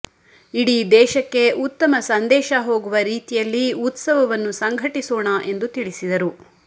ಇಡೀ ದೇಶಕ್ಕೆ ಉತ್ತಮ ಸಂದೇಶ ಹೋಗುವ ರೀತಿಯಲ್ಲಿ ಉತ್ಸವವನ್ನು ಸಂಘಟಿಸೋಣ ಎಂದು ತಿಳಿಸಿದರು